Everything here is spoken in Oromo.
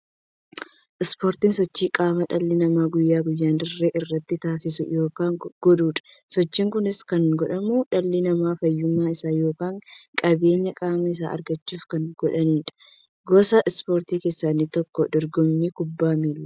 Ispoortiin sochii qaamaa dhalli namaa guyyaa guyyaan dirree irratti taasisu yookiin godhuudha. Sochiin kunis kan godhamuuf, dhalli namaa fayyummaa isaa yookiin jabeenya qaama isaa argachuuf kan godhaniidha. Gosa ispoortii keessaa inni tokko dorgommii kubbaa milaati.